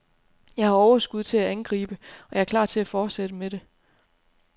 Jeg har overskud til at angribe, og jeg er klar til at fortsætte med det.